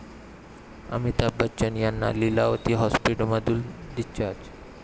अमिताभ बच्चन यांना लीलावती हाॅस्पिटलमधून डिस्चार्ज